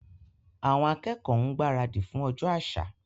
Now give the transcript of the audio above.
Àwọn akẹ́kọ̀ọ́ ń gbaradì fún ọjọ́ àṣà.